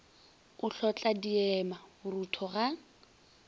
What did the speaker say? o hlotla diema borutho ga